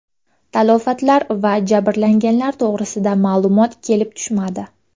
Talafotlar va jabrlanganlar to‘g‘risida ma’lumot kelib tushmadi.